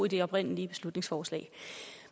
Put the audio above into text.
i det oprindelige beslutningsforslag